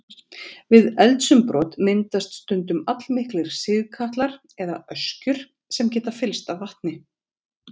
Við eldsumbrot myndast stundum allmiklir sigkatlar eða öskjur sem geta fyllst af vatni.